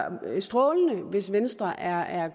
strålende hvis venstre er er